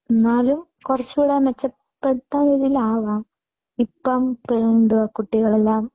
എന്നാലും കുറച്ച് കൂടി മെച്ചപ്പെട്ട രീതിയിൽ ആവാം. ഇപ്പോ കുട്ടികൾ എല്ലാം